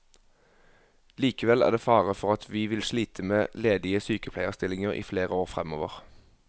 Likevel er det fare for at vi vil slite med ledige sykepleierstillinger i flere år fremover.